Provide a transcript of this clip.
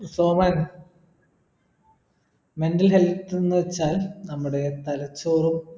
Soman mental health എന്നു വെച്ചാൽ നമ്മുടെ തലച്ചോർ